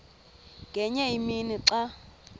ngenye imini xa